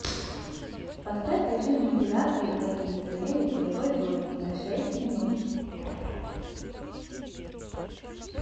поставь режим вентиляции на кондиционере в игровой зоне на шесть минут